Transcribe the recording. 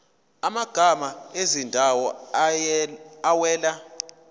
amagama ezindawo awela